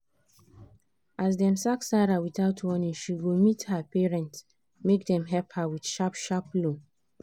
as dem sack sarah without warning she go meet her parents make dem help her with sharp-sharp loan.